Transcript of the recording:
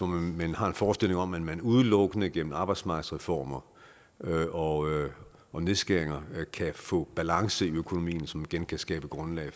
man har en forestilling om at man udelukkende gennem arbejdsmarkedsreformer og og nedskæringer kan få balance i økonomien så man igen kan skabe grundlag